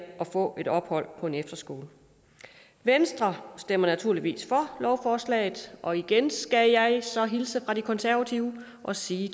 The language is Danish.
få et ophold på en efterskole venstre stemmer naturligvis for lovforslaget og igen skal jeg så hilse fra de konservative og sige